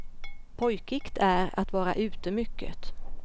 Pojkigt är att vara ute mycket.